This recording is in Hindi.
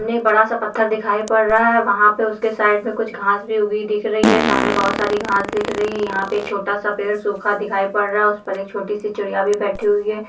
इनमें बड़ा सा पत्थर दिखाई पड़ रहा है वहां पे उसके साईड में कुछ घास भी उगी दिख रही है सामने बहुत सारी घास दिख रही है यहाँ पे एक छोटा सा पेड़ सूखा दिखाई पड़ रहा है उसपे एक छोटी सी चिड़िया भी बेठी हुई है।